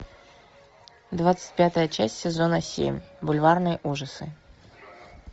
двадцать пятая часть сезона семь бульварные ужасы